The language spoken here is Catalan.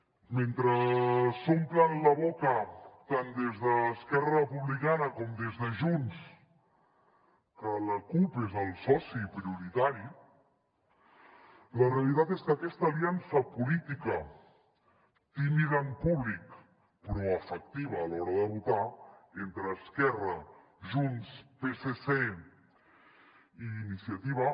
mentre s’omplen la boca tant des d’esquerra republicana com des de junts que la cup és el soci prioritari la realitat és que aquesta aliança política tímida en públic però efectiva a l’hora de votar entre esquerra junts psc i iniciativa